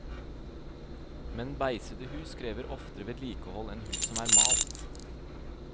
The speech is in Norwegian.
Men beisede hus krever oftere vedlikehold enn hus som er malt.